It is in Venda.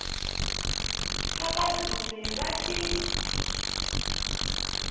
kha vha dzule vha tshi